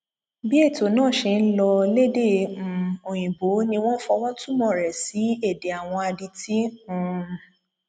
bí ètò náà ṣe ń lọ lédè um òyìnbó ni wọn fọwọ túmọ rẹ sí èdè àwọn adití um